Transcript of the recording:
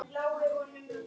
Og ég fór að hjóla.